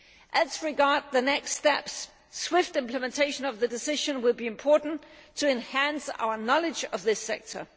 As regards the next steps, swift implementation of the decision will be important to enhance our knowledge of this sector.